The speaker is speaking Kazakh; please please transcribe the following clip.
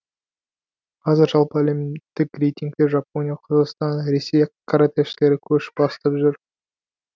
қазір жалпы әлемдік рейтингте жапония қазақстан ресей каратэшілері көш бастап жүр